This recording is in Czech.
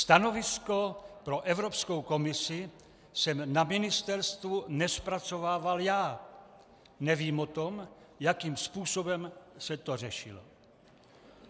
Stanovisko pro Evropskou komisi jsem na ministerstvu nezpracovával já, nevím o tom, jakým způsobem se to řešilo.